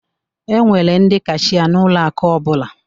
E nwere ndị kashia n'ụlọ akụ ọbụla